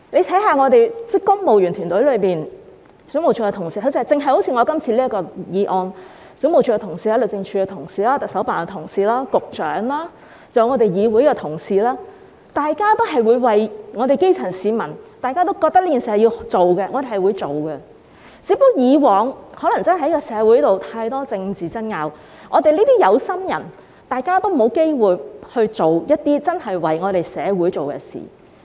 大家看看公務員團體內，因為我今次的修訂條例草案，水務署的同事、律政司的同事、行政長官辦公室的同事、發展局局長，還有議會的同事，大家也會為基層市民做事，大家也覺得這件事有需要處理，我們便去處理，只是以往社會上太多政治爭拗，我們這些有心人才沒有機會真正為社會做一些事。